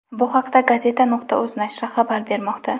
Bu haqda Gazeta.uz nashri xabar bermoqda.